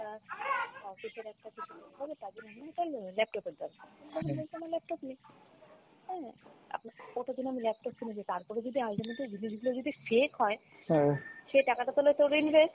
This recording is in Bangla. তার জন্যে উম laptop এর দরকার laptop নেই তাই না আপনার ওটার জন্য আমি laptop কিনেছি তারপরেও যদি ultimately জিনিসগুলা যদি fake হয় সে টাকাটা তাহলে